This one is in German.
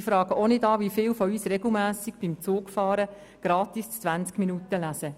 Ich frage auch nicht, wie viele von uns beim Zugfahren regelmässig gratis die Zeitung «20 Minuten» lesen.